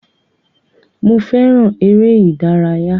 Mo fẹràn eré ìdárayá.